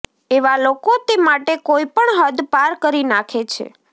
એવા લોકો તે માટે કોઈ પણ હદ પાર કરી નાખે છે